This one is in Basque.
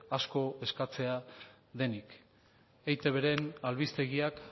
asko eskatzea denik eitben albistegiak